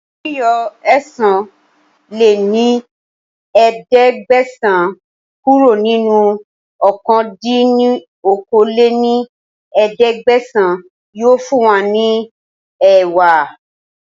Yíyọ ẹ̀sán lé ní ẹ̀ẹ́dẹ́gbẹ́sán kúrò nínú ọ̀kan dín ní okòó-lé-ní-ẹ̀ẹ́dẹ́gbẹ́sán yìí ó fún wa ní ẹẹ́wá